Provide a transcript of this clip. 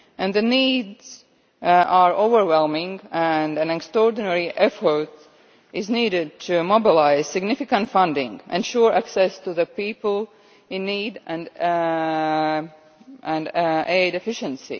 The needs are overwhelming, and an extraordinary effort is needed to mobilise significant funding, ensure access to the people in need, and aid efficiency.